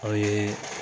Aw ye